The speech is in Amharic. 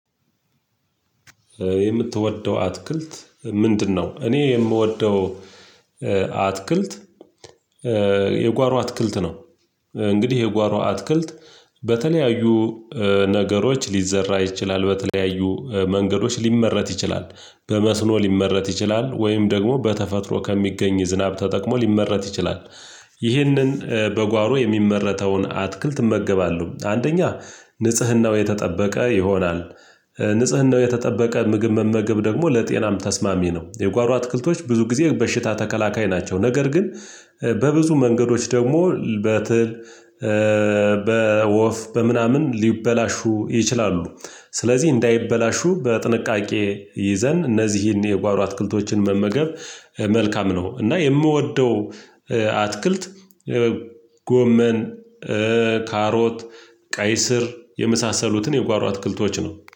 የምትወደው አትክልት ምንድነው? እኔ የምወደው አትክልት የጓሮ አትክልት ነው እንግዲህ የጓሮ አትክልት በተለያዩ ነገሮች ሊዘራ ይችላል በተለያዩ መንገዶች ሊመረት ይችላል በመስኖ ሊመረት ይችላል ወይም ደግሞ በተፈጥሮ ከሚገኝ ዝናብ ተጠቅሞ ሊመረት ይችላል። ይህንን በጓሮ የሚመረተውን አትክልት እመገባለሁ። አንደኛ ንጽህናው የተጠበቀ ይሆናል፣ ንጽህናው የተጠበቀ ምግብ መመገብ ደግሞ ለጤናም ተስማሚ ነው። የጓሮ አትክልቶች ብዙ ጊዜ በሽታ ተከላካይ ናቸው ነገር ግን በብዙ መንገዶች ደግሞ በትል በወፍ በምናምን ሊበላሹ ይችላሉ ስለዚህ እንዳይበላሹ በጥንቃቄ ይዘን እነዚህን የጓሮ አትክልቶችን መመገብ መልካም ነው እና የምወደው አትክልት ጎመን፣ ካሮት፣ ቀይ ስር የመሳሰሉትን የጓሮ አትክልቶች ነው